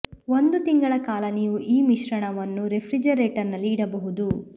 ಒಂದು ತಿಂಗಳ ಕಾಲ ನೀವು ಈ ಮಿಶ್ರಣವನ್ನು ರೆಫ್ರಿಜರೇಟರ್ ನಲ್ಲಿ ಇಡಬಹುದು